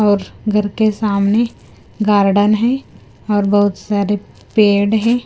और घर के सामने गारडन है और बहुत सारे पेड़ हैं।